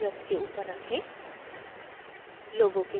इसे place वृत्त के ऊपर रखें